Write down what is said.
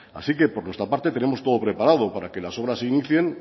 así que por nuestra parte tenemos todo preparado para que las obras se inicien